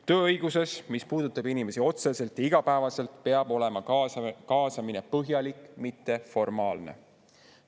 Tööõiguses, mis puudutab inimesi otseselt ja igapäevaselt, peab olema kaasamine põhjalik, mitte formaalne.